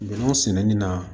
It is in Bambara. Bɛnɛ sɛnɛni na